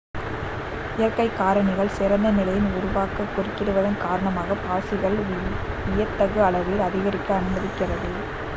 இயற்கை காரணிகள் சிறந்த நிலையினை உருவாக்க குறுக்கிடுவதன் காரணமாக பாசிகள் வியத்தகு அளவில் அதிகரிக்க அனுமதிக்கிறது